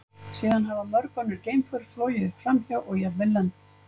Síðan hafa mörg önnur geimför flogið framhjá og jafnvel lent.